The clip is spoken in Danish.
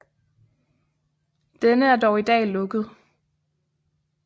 Denne er dog i dag lukket